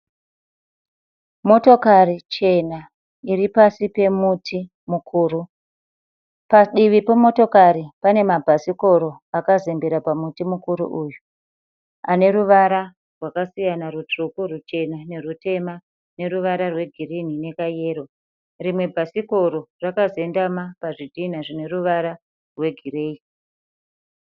Motokari chena iri pasi pemuti mukuru. Padivi pemotokari pane mabhasikoro akazembera pamuti mukuru uyu ane ruvara rwakasiyana, rutsvuku, ruchena nerutema neruvara rwegirini nekayero. Rimwe bhasikoro rakazendama pazvidhinha zvine ruvara rwegireyi.